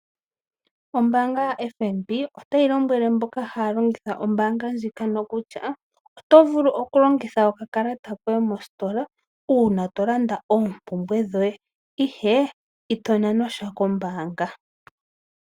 Ombaanga ya FNB otayi lombwele mboka haya longitha ombaanga ndjika nokutya oto vulu okulongitha oka kalata koye mostola uuna tolanda oompumbwe dhoye ihe ito nanwa shwa kombaanga.